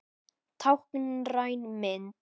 Táknræn mynd.